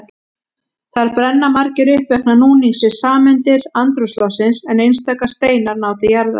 Þar brenna margir upp vegna núnings við sameindir andrúmsloftsins en einstaka steinar ná til jarðar.